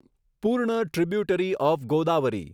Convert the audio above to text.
પૂર્ણ tributary of Godavari